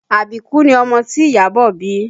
Àbíkú ni ọmọ tí Iyabọ̀ bí